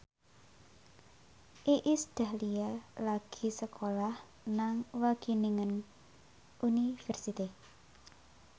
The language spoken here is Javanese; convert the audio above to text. Iis Dahlia lagi sekolah nang Wageningen University